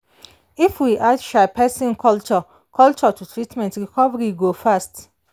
if we add um person culture culture to treatment recovery go fast.